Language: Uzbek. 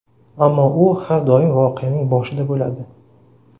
Ammo, u har doim voqeaning boshida bo‘ladi.